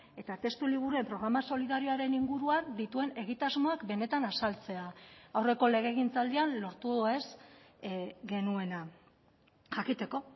eta testuliburuen programa solidarioaren inguruan dituen egitasmoak benetan azaltzea aurreko legegintzaldian lortu ez genuena jakiteko